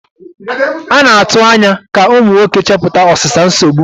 A na-atụ anya ka ụmụ nwoke chepụta ọsịsa nsogbu.